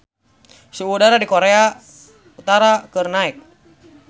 Suhu udara di Korea Utara keur naek